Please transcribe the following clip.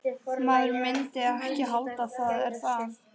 Maður myndi ekki halda það, er það?